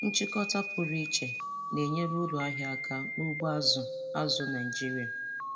Nchịkọta pụrụ iche na-enyere uru ahịa aka n'ugbo azụ̀ azụ̀ Naịjiria.